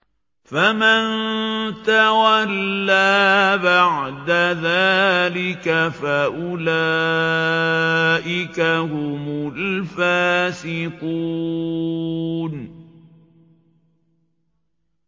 فَمَن تَوَلَّىٰ بَعْدَ ذَٰلِكَ فَأُولَٰئِكَ هُمُ الْفَاسِقُونَ